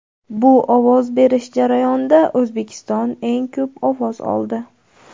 Bu ovoz berish jarayonida O‘zbekiston eng ko‘p ovoz oldi.